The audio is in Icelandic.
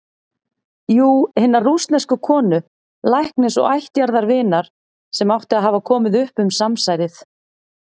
Jú- hinnar rússnesku konu, læknis og ættjarðarvinar, sem átti að hafa komið upp um samsærið.